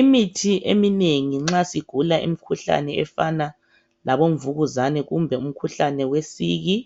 Imithi eminengi nxa sigula imkhuhlane efana labo mvukuzane kumbe umkhuhlane wesiki.